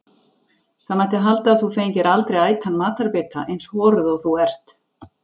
Það mætti halda að þú fengir aldrei ætan matarbita, eins horuð og þú ert.